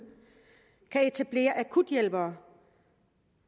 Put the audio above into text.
kan etablere akuthjælpere